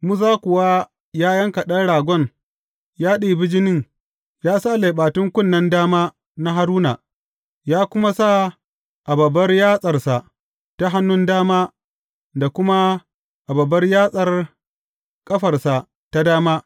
Musa kuwa ya yanka ɗan ragon ya ɗibi jinin ya sa leɓatun kunnen dama na Haruna, ya kuma sa a babbar yatsarsa ta hannun dama da kuma a babbar yatsar ƙafarsa ta dama.